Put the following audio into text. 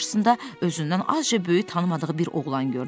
Birdən qarşısında özündən azca böyük tanımadığı bir oğlan gördü.